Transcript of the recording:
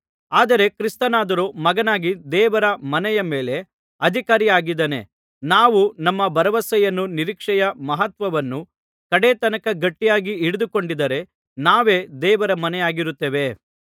ಆದರೆ ಕ್ರಿಸ್ತನಾದರೋ ಮಗನಾಗಿ ದೇವರ ಮನೆಯ ಮೇಲೆ ಅಧಿಕಾರಿಯಾಗಿದ್ದಾನೆ ನಾವು ನಮ್ಮ ಭರವಸೆಯನ್ನೂ ನಿರೀಕ್ಷೆಯ ಮಹತ್ವವನ್ನೂ ಕಡೆ ತನಕ ಗಟ್ಟಿಯಾಗಿ ಹಿಡಿದುಕೊಂಡಿದ್ದರೆ ನಾವೇ ದೇವರ ಮನೆಯಾಗಿರುತ್ತೇವೆ